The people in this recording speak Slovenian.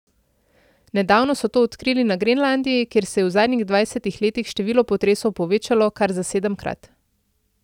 Nedavno so to odkrili na Grenlandiji, kjer se je v zadnjih dvajsetih letih število potresov povečalo kar za sedemkrat.